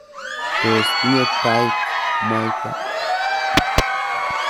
Tos tinye tait mwaita?